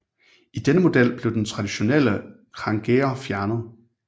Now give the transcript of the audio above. I denne model blev de traditionelle krængeror fjernet